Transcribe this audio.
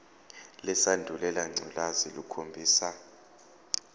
lesandulela ngculazi lukhombisa